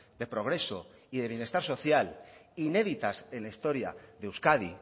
de progreso y de bienestar social inéditas en la historia de euskadi